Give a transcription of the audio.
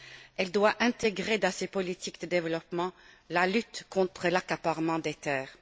Elle doit intégrer, dans ses politiques de développement, la lutte contre l'accaparement des terres.